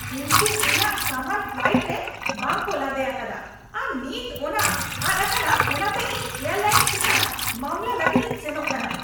ᱩᱱᱠᱩ ᱤᱧᱟᱜ ᱥᱟᱢᱟᱱ ᱯᱷᱞᱟᱭᱤᱴ ᱨᱮ ᱵᱟᱝᱠᱚ ᱞᱟᱫᱮ ᱟᱠᱟᱫᱟ ᱟᱨ ᱱᱤᱛ ᱚᱱᱟ ᱟᱫ ᱟᱠᱟᱱᱟ ᱚᱱᱟᱛᱮ ᱤᱧ ᱮᱭᱟᱨᱞᱟᱭᱤᱱᱥ ᱪᱮᱛᱟᱱ ᱢᱟᱢᱞᱟ ᱞᱟᱹᱜᱤᱫ ᱤᱧ ᱥᱮᱱᱚᱜ ᱠᱟᱱᱟ ᱾ (ᱜᱟᱦᱟᱠ)